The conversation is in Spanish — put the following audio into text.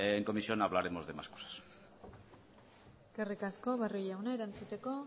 en comisión hablaremos de más cosas eskerrik asko barrio jauna erantzuteko